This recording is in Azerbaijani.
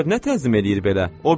Bu nökər nə təzmin eləyir belə?